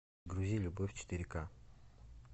грузи любовь четыре ка